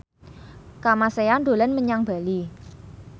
Kamasean dolan menyang Bali